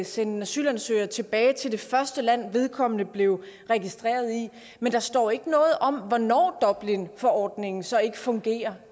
sende en asylansøger tilbage til det første land vedkommende blev registreret i men der står ikke noget om hvornår dublinforordningen så ikke fungerer